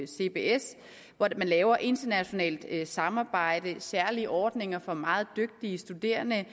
cbs hvor man laver internationalt samarbejde og særlige ordninger for meget dygtige studerende